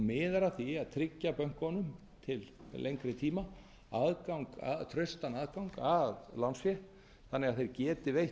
miðar að því að tryggja bönkunum til lengri tíma traustan aðgang að lánsfé þannig að þeir geti veitt